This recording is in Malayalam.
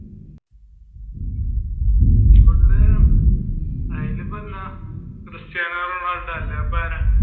cristiano ronaldo അല്ല ഇപ്പ ആരാ